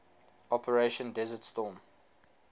operation desert storm